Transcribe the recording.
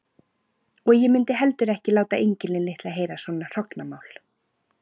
Og ég mundi heldur ekki láta engilinn litla heyra svona hrognamál.